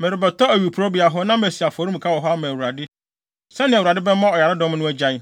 “Merebɛtɔ awiporowbea hɔ, na masi afɔremuka wɔ hɔ ama Awurade, sɛnea Awurade bɛma ɔyaredɔm no agyae.”